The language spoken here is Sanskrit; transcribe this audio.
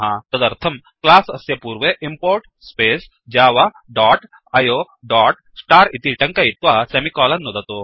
तदर्थं क्लास् अस्य पूर्वे import space java dot IO dot star इति टङ्कयित्वा सेमिकोलन् नुदतु